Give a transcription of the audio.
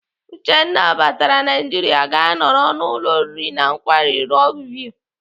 Uchenna batara Naijiria gaa nọrọ n'ụlọ oriri na nkwari Rock view.